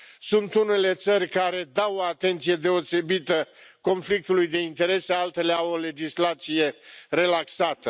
Sunt unele țări care dau o atenție deosebită conflictului de interese, altele au o legislație relaxată.